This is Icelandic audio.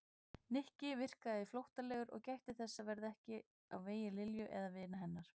Nikki virkaði flóttalegur og gætti þess að verða ekki á vegi Lilju eða vina hennar.